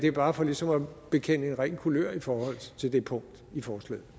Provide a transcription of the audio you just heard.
er bare for ligesom at bekende ren kulør i forhold til det punkt i forslaget